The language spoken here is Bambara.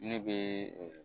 Ne bɛ